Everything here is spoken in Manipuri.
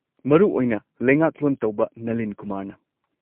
-ꯃꯔꯨꯑꯣꯏꯅ ꯂꯩꯉꯥꯛꯂꯣꯟ ꯇꯧꯕ ꯅꯂꯤꯟ ꯀꯨꯃꯥꯔꯅ꯫